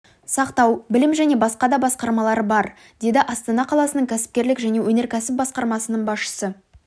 сақтау білім және басқа да басқармалар бар деді астана қаласының кәсіпкерлік және өнеркәсіп басқармасының басшысы